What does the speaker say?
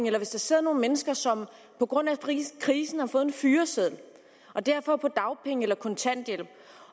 eller hvis der sidder nogle mennesker som på grund af krisen krisen har fået en fyreseddel og derfor er på dagpenge eller kontanthjælp